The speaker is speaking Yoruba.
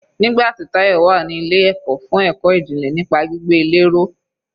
Nígbà tí Tayọ wà ní ilé ẹ̀kọ́ fún ẹ̀kọ́ ìjìnlẹ̀ nípa gbígbé ilé ró.